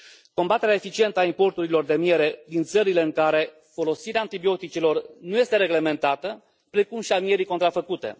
Combaterea eficientă a importurilor de miere din țările în care folosirea antibioticelor nu este reglementată, precum și a mierii contrafăcute.